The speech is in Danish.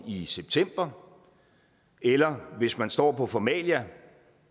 i september eller hvis man står på formalia